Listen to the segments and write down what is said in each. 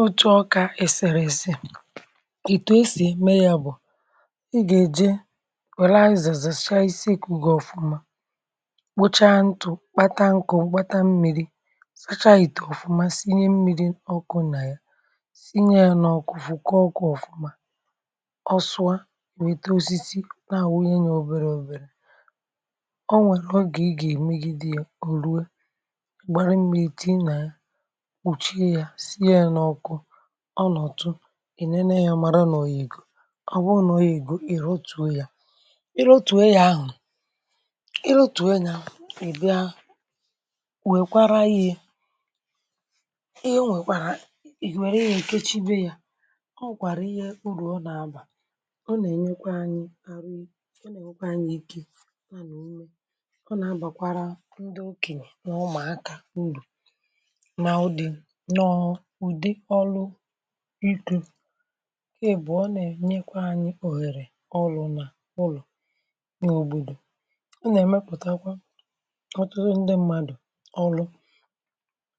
ihe òtù ọkà èsèrèse è itù esì ème ya bụ̀, ị gà-èje wèla izèzè, chaa isi ekùgè ọ̀fụma, kpocha ntụ̀, kpata nkè obata mmi̇ri̇, sacha ìtù ọ̀fụma, sinye mmi̇ri̇ ọkụ nà ya, sinye ya n’ọ̀kụ, fukọkọ ọ̀fụma. ọsụa nwèto osisi na àwụ onye nya, oberė òberė, ọ nwèrè ọ gà, ị gà-èmegidi ya, o ruo gbara mmiri̇ tii nà ya, ọ nọ̀tụ ì, nene ya, mara n’oyì ègò, ọ bụ n’oyì ègò, ị̀ rotùo ya, ị rotùo ya ahụ̀, ị rotùo ya èbe a. wèkwara ihe, ihe nwèkwàrà, wère ihe nkechi be ya, ọ kwàrà. ihe urù ọ nà-abà, ọ nà-ènyekwa anyị̇ arụ, ọ nà-abà anyị̇ ike, ọ nà-abàkwara ndị okè nà ụmụ̀akȧ, ndụ̀ nà ụdị̀ nọọhụkwa. um ị bụ̀, ọ nà-ènyekwa anyị̇ òhèrè ọrụ̇ nà ụlọ̀ nà òbòdò, ọ nà-èmepụ̀takwa ọtụtụ ndị mmadụ̀, ọlụ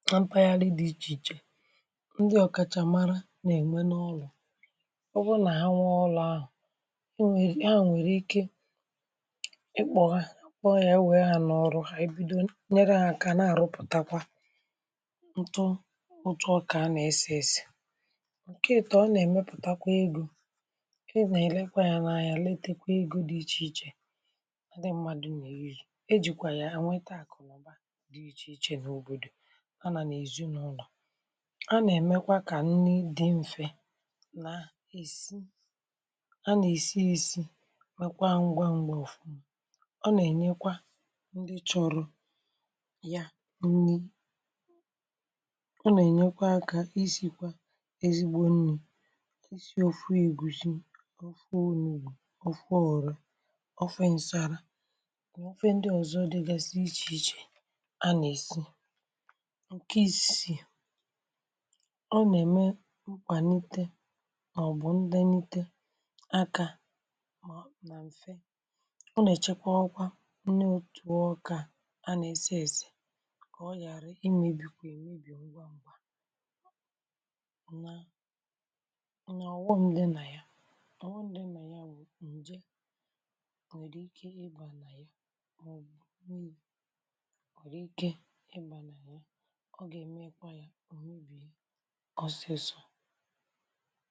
nọ mpaghara dị ichè ichè, ndị ọ̀kàchàmara nà-ème n’ọlụ̇. ọ bụrụ nà ha nwa ọlụ̇ ahụ̀, ọ wụrụ ike ịkpọ ha, ọ yà e wèe ha n’ọrụ ha, ị bido nyerụ hȧ, kà nà-àrụpụtakwa ǹtụ, otu ọkà nà esesì ǹke èto. ọ nà-èmepùtakwa egȯ, ị nà-èlekwa ya n’anya, letekwa egȯ dị ichèichè, ndị mmadù nà ejì, ejìkwà ya à nweta àkụ̀nụ̀ba dị̇ ichèichè n’òbòdò. a nà n’èzu n’ụlọ̀, a nà-èmekwa kà nni dị mfe nà èsi, a nà-èsi èsi mekwa ngwa m̀gbè ofù. ọ nà-ènyekwa ndị chọ̀rọ̀ ya nni, ọ nà-ènyekwa akȧ, èsìkwa ezigbo nni, isi ofu ìgwùzi, ofu ònùli, ofu òrò, ofe ǹsȧrȧ, ofe ndị ọzọ dịgasị iche iche a nà-èsi ǹke isi. ọ nà-ème nkwànite màọ̀bụ̀ ndenite akȧ ma na mfe, ọ nà-èchekwa ọkwa ndị otù ọkà a nà-èsi èsè, kà ọ ghàra imėbìkwè èmebì ngwa mbà. ọ nà-ọwụ, ndị na ya, ọwụ, ndị na ya bụ ndị nwere ike ịgba na ya, ọ bụ̀ nwere ike ịgba na ya, ọ ga-emeekwa ya ohobi ọsịsọ.